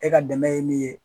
E ka dɛmɛ ye min ye.